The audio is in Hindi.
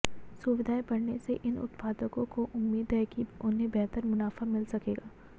सुविधाएं बढ़ने से इन उत्पादकों को उम्मीद है कि उन्हें बेहतर मुनाफा मिल सकेगा